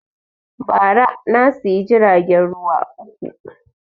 Ba ra na siya jiragen ruwa uku